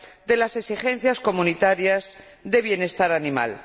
de las exigencias comunitarias de bienestar animal.